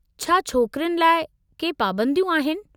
छा छोकिरियुनि लाइ के पाबंदियूं आहिनि?